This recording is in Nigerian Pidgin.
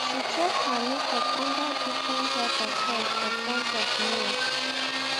she check her makeup under different type of light for front of mirror